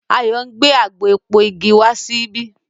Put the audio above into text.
Ayo ngbé àgbò èpo ìgi wá síbí.